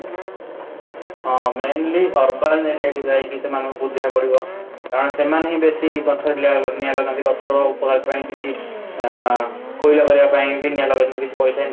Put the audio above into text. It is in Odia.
ହଁ, mainly urban area କୁ ଯାଇକି ସେମାନଙ୍କୁ ବୁଝେଇବାକୁ ପଡିବ, କାରଣ ସେମାନେ ହିଁ ବେଶୀ ଗଛ ରେ ନିଆଁ ନିଆଁ ଲଗାନ୍ତି ଗଛ ର ଅ କୋଇଲା ପାଇବା ପାଇଁ ବି ନିଆଁ ଲଗେଇଥାନ୍ତି କିଛି ପଇସା income କରିବା ପାଇଁ ବି